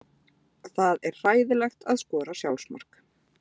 Það er hræðilegt að skora sjálfsmark.